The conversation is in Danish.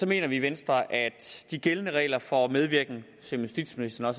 mener vi i venstre at de gældende regler for medvirken som justitsministeren